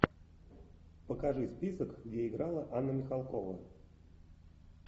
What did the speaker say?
покажи список где играла анна михалкова